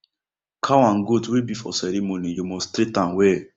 cow and goat wey be for ceremony you must treat am well